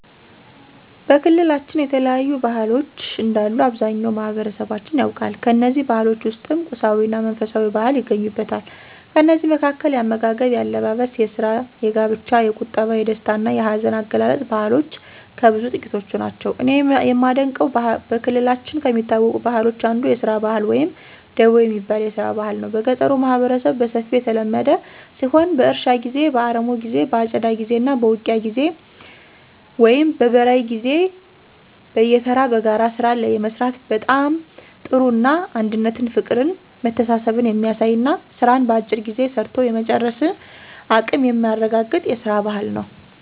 በክልላችን የተለያዩ ባህሎች እንዳሉ አብዛኛው ማህበረሠባችን ያውቃል። ከእነዚህ ባህሎች ውስጥም ቁሳዊ እና መንፈሳዊ ባህል ይገኙበታል። ከእነዚህ መካከል፦ የአመጋገብ፣ የአለባበስ፣ የስራ፣ የጋብቻ፣ የቁጠባ፣ የደስታ እና የሀዘን አገላለፅ ባህልሎች ከብዙ ጥቂቶቹ ናቸው። እኔ የማደንቀው በክልላችን ከሚታወቁ ባህሎች አንዱ የስራ ባህል ወይም ደቦ የሚባል የስራ ባህል ነው። በገጠሩ ማህበረሠብ በሰፊው የተለመደ ሲሆን በእርሻ ጊዜ፣ በአረሞ ጊዜ በአጨዳ ጊዜ እና በውቂያ ወይም በበራይ ጊዜ በየተራ በጋራ ስራን የመስራት በጣም ጥሩ እና አንድነትን ፍቅርን መተሳሠብን የሚያሳይ እና ስራን በአጭር ጊዜ ሰርቶ የመጨረስን አቀም የሚያረጋገጥ የስራን ባህል ነው።